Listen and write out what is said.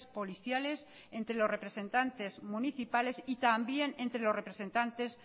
policiales entre los representantes municipales y también entre los representantes